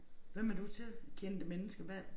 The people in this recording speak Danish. Hvem er du til kendte mennesker hvad